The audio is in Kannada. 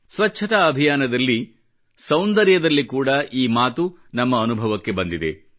ಸ್ವಚ್ಚತಾ ಅಭಿಯಾನದಲ್ಲಿ ಸೌಂದರ್ಯದಲ್ಲಿ ಕೂಡ ಈ ಮಾತು ನಮ್ಮ ಅನುಭವಕ್ಕೆ ಬಂದಿದೆ